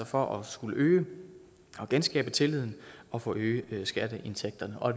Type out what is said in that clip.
for at skulle øge og genskabe tilliden og forøge skatteindtægterne og